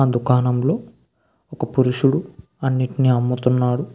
అ దుకాణంలో ఒక పురుషుడు అన్నిటినీ అమ్ముతున్నాడు.